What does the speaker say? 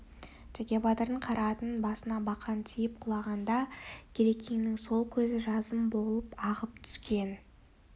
теке батырдың қара атының басына бақан тиіп құлаған да керекеңнің сол көзі жазым болып ағып түскен